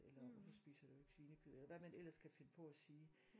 Eller hvorfor spiser du ikke svinekød eller hvad man ellers kan finde på at sige